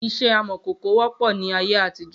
Iṣẹ́ amòkòkò wọ́pọ̀ ni ayé àtijó